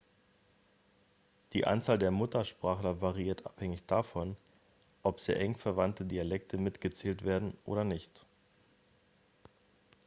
die anzahl der muttersprachler variiert abhängig davon ob sehr eng verwandte dialekte mitgezählt werden oder nicht